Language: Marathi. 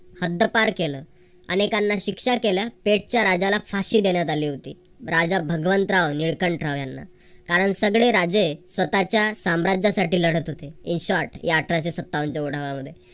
हद्दपार केलं. अनेकांना शिक्षा केल्या. पेठच्या राजाला फाशी देण्यात आली होती. राजा भगवंतराव निळकंठराव यांना कारण सगळे राजे स्वतःच्या साम्राज्यासाठी लढत होते. in short या अठराशे सत्तावनच्या उठावामध्ये